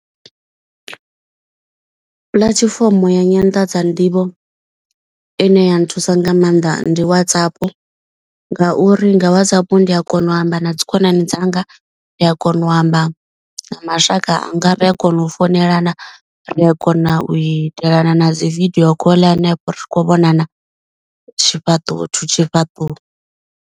Puḽatifomo ya nyanḓadza nḓivho ine ya nthusa nga maanḓa ndi Whatsapp. Nga uri nga Whatsapp ndi a kona u amba na dzi khonani dzanga ri a kona u amba na mashaka anga ri a kona u founelana. Ri a kona u itela fana na dzi video call hanefho ri khou vhonana tshifhaṱuwo thu tshifhaṱuwo.